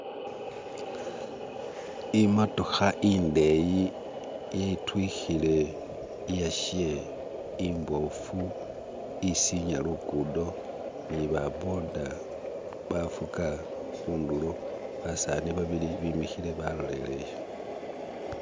Imatokha indeyi itwikhile iyashe imboofu isinya lugudo nibaboda bavuga hundulo, basani babili bimikhile baloleyeye